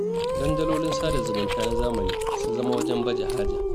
Dandalolin sada zumunta na zamani sun zama wajen baje haja.